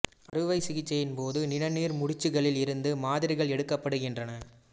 அறுவை சிகிச்சையின் போது நிணநீர் முடிச்சுகளில் இருந்து மாதிரிகள் எடுக்கப்படுகின்றன